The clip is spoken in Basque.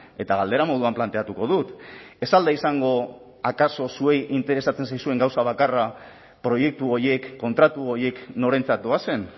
eta galdera moduan planteatuko dut ez al da izango akaso zuei interesatzen zaizuen gauza bakarra proiektu horiek kontratu horiek norentzat doazen